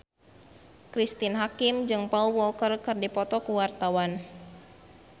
Cristine Hakim jeung Paul Walker keur dipoto ku wartawan